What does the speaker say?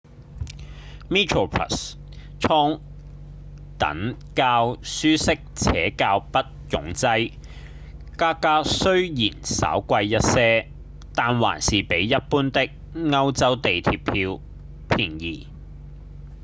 metroplus 艙等較舒適且較不擁擠價格雖然稍貴一些但還是比一般的歐洲地鐵票便宜